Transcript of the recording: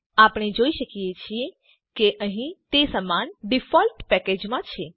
આપણે જોઈ શકીએ છીએ કે અહીં તે સમાન ડિફોલ્ટ પેકેજ માં છે